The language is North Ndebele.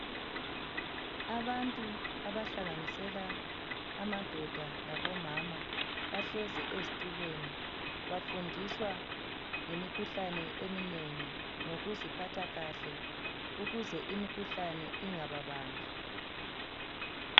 Abantu abahlanganisela amadoda labomama bahlezi ezitulweni bafundiswa ngemikhuhlane eminengi ngokuziphatha kahle ukuze imikhuhlane ingababambi